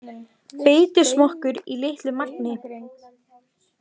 Beitusmokkur í litlu magni